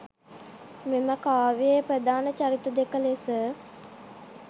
මෙම කාව්‍යයේ ප්‍රධාන චරිත දෙක ලෙස